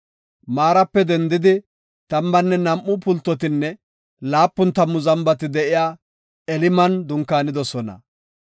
Maarape dendidi tammanne nam7u pultotinne laapun tammu zambati de7iya Eliman dunkaanidosona.